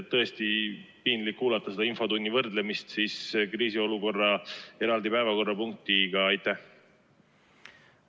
Tõesti, piinlik on kuulata, kui infotundi võrreldakse eraldi päevakorrapunktiga kriisiolukorra kohta.